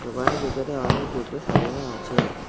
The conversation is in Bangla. দোকানের ভিতরে অনেক জুতো সাজানো আছে।